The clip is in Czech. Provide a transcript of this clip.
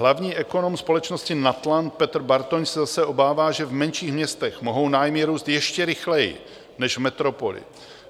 Hlavní ekonom společnosti Natland Petr Bartoň se zase obává, že v menších městech mohou nájmy růst ještě rychleji než v metropoli.